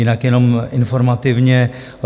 Jinak jenom informativně.